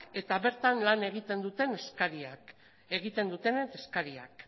eta bertan lan egiten dutenen eskariak